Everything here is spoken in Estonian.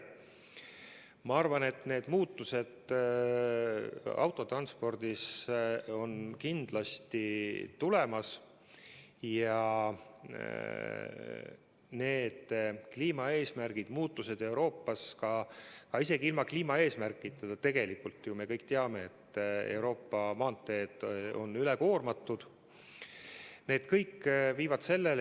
Ma arvan, et need muutused autotranspordis on kindlasti tulemas ja need isegi ilma kliimaeesmärkideta, sest tegelikult me kõik teame, et Euroopa maanteed on üle koormatud.